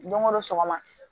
Don ko don sɔgɔma